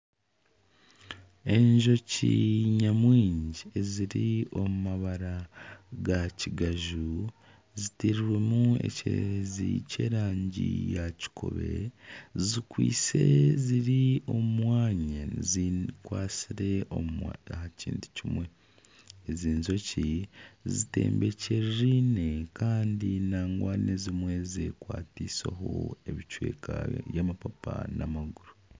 Enjoki nyamwingi eziri omu mabara gakigaju zitirwemu ekyererezi ky'erangi yakikobe zikwaitse ziri omu mwanya zikwatsire aha kintu kimwe . Ezi enjoki zitembekyeririne kandi nangwa n'ezimwe zekwatiseho ebicweka by'amapapa n'amaguru.